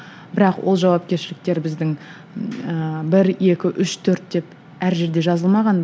бірақ ол жауапкершіліктер біздің ііі бір екі үш төрт деп әр жерде жазылмаған